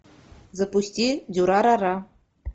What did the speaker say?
запусти дюрарара